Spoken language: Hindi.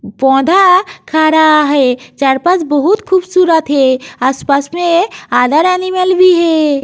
पौधा खड़ा है चार पाँच बहुत खूबसूरत है आस पास मे अदर एनिमल भी है।